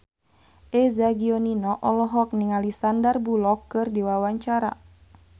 Eza Gionino olohok ningali Sandar Bullock keur diwawancara